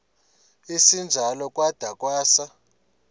esinjalo kwada kwasa